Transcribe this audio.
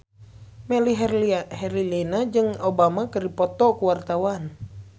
Melly Herlina jeung Obama keur dipoto ku wartawan